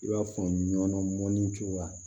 I b'a faamu nɔnɔ mɔnni cogoya